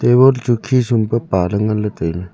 table chu khe sum pe paley ngan ley tailey.